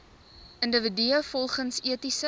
individue volgens etiese